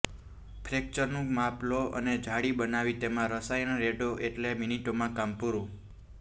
ફ્રેક્ચરનું માપ લો અને જાળી બનાવી તેમાં રસાયણ રેડો એટલે મિનિટોમાં કામ પૂરું